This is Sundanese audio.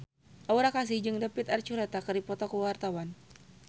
Aura Kasih jeung David Archuletta keur dipoto ku wartawan